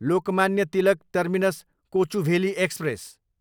Lokmanya Tilak terminus, Kochuveli express